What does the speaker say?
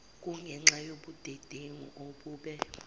kungenxa yobudedengu obube